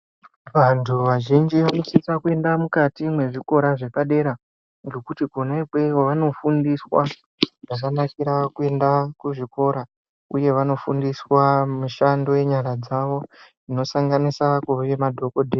Vantu vazhinji vanosisa kuenda mukati mwezvikora zvepadera ngokuti kona ikweyo vanofundiswa zvakanakira kuenda kuzvikora uye vanofundiswa mishando yenyara dzavo inosanganise kuve madhokodheya.